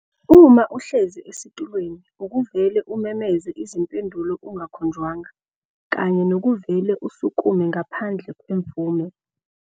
uma uhlezi esitulweni ukuvele umemeze izimpendulo ungakhonjwanga kanye nokuvele usukume ngaphandle kwemvume.